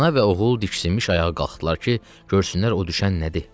Ana və oğul diksinmiş ayağa qalxdılar ki, görsünlər o düşən nədir.